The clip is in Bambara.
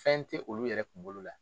Fɛn tɛ olu yɛrɛ kunkolo la